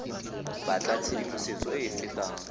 batla tshedimosetso e e fetang